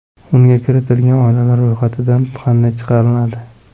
Unga kiritilgan oilalar ro‘yxatdan qanday chiqariladi?